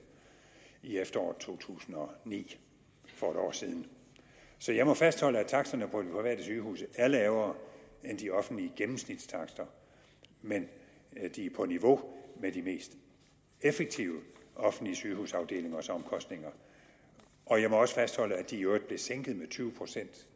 i efteråret to tusind og ni for et år siden så jeg må fastholde at taksterne på de private sygehuse er lavere end de offentlige gennemsnitstakster men de er på niveau med de mest effektive offentlige sygehusafdelingers omkostninger og jeg må også fastholde at de i øvrigt blev sænket med tyve procent